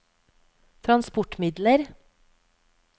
transportmidler